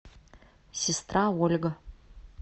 сестра ольга